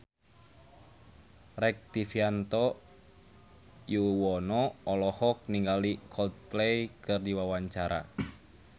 Rektivianto Yoewono olohok ningali Coldplay keur diwawancara